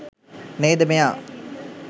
නේද මෙයා